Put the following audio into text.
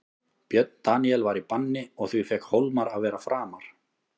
Björn Daníel var í banni og því fékk Hólmar að vera framar.